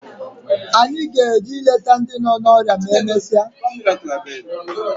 Anyị ga-eje leta ndị nọ n'ọrịa ma e mesịa